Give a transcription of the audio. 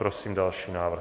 Prosím další návrh.